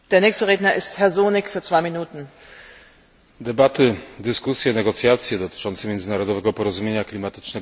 Debaty, dyskusje, negocjacje dotyczące międzynarodowego porozumienia klimatycznego w Kopenhadze trwają nieprzerwanie od miesięcy.